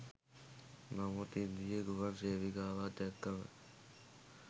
නමුත් ඉන්දීය ගුවන් සේවිකාවන් දැක්කම